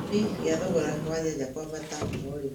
Gĩtũmi gĩa thogora wa nyanya kwambata o rĩmwe